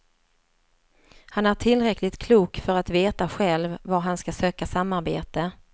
Han är tillräckligt klok för att veta själv var han ska söka samarbete.